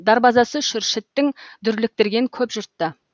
дарбазасы шүршіттің дүрліктірген көп жұртты